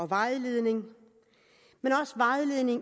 vejledning